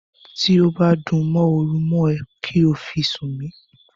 Tí ó bá dúnmọ̀huru mọ́ ẹ, kí ó fi sùn mí.